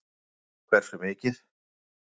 Haukur: Hversu mikið?